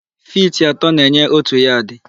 Fiti atọ na-enye òtù yadị.